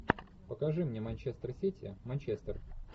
покажи мне манчестер сити манчестер